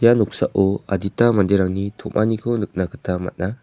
ia noksao adita manderangni tom·aniko nikna gita man·a.